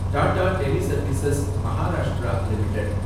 Tata teleservices Maharashtra limited